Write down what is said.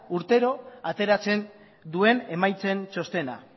urtero ateratzen duen emaitzen txostena